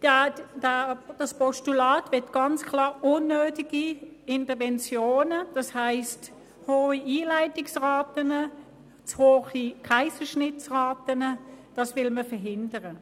Das Postulat möchte ganz klar unnötige Interventionen, also hohe Einleitungsraten und zu hohe Kaiserschnittsraten verhindern.